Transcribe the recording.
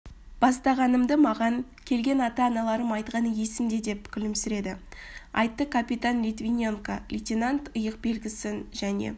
бастағанымды маған келген ата-аналарым айтқаны есімде деп күлімсіреп айтты капитан литвиненко лейтенант иық белгісін және